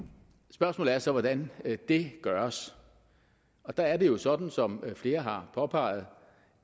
spørgsmålet er så hvordan det gøres og der er det jo sådan som flere har påpeget